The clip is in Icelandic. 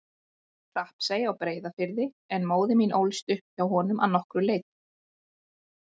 Hrappsey á Breiðafirði en móðir mín ólst upp hjá honum að nokkru leyti.